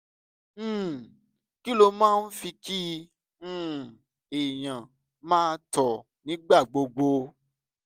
um kí ló máa ń fa kí um èèyàn máa tọ̀ nígbà gbogbo?